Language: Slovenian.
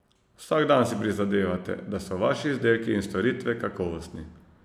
Vsak dan si prizadevate, da so vaši izdelki in storitve kakovostni.